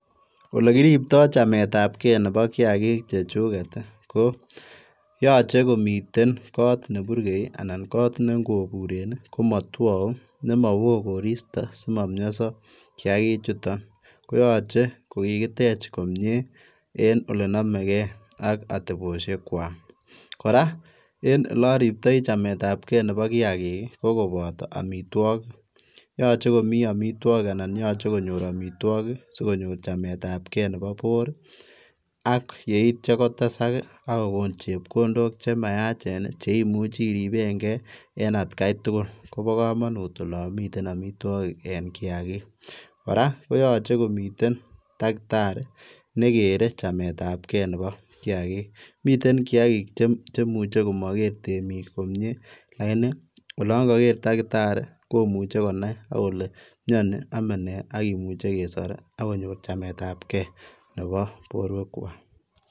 Ole kiriptai chametaab gei nebo kiagiik chechugeet ii ko yachei komiteen koot ne burgei ii anan koot ne ingobureen komatwau ne ma wooh koristoi simamiasaa kiagiik chutoon koyachei ko kikiteech komyei en ole namegei en atebosiek kwaak kora en ole ariptai chametaab gei nebo kiagiik ko kobataa amitwagiik yachei komii amitwagiik anan yachei konyoor amitwagiik sikonyoor chametaab gei nebo boor ak yeityaa kotesaak ak kogoon chepkondook che mayacheen cheimuchii iripeen gei en at gai tugul kobaa kamanuut olaan miten amitwagiik en kiagiik kora koyachei komiteen dakitarii ne kere chametaab gei nebo kiagiik miten kiagiik chemuchei komager temiik komyei lakini olaan kagere dakitarii koyachei konai akole mianii annan ame nee akimuche kesoor agonyoor chameet ab gei nebo boruek kwaak.